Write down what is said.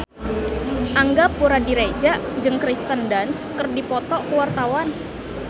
Angga Puradiredja jeung Kirsten Dunst keur dipoto ku wartawan